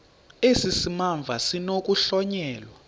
esi simamva sinokuhlonyelwa